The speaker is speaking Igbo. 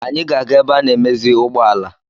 Anyị ga-aga ebe ana-emezi ụgbọala.